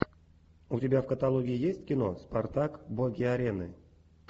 у тебя в каталоге есть кино спартак боги арены